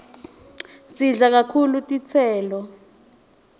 sidle kahulu tiselo